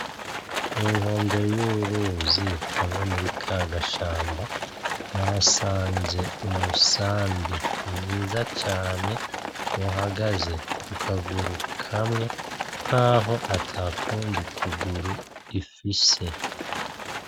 Ku nkombe y'uruzi hamwe muri kagashamba, nahasanze umusambi mwiza cane uhagaze kukaguru kamwe nkaho atakundi kuguru ifise.